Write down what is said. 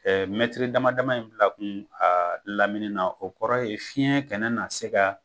dama dama in bila kun a lamini na o kɔrɔ ye fiɲɛ kɛnɛ na se ka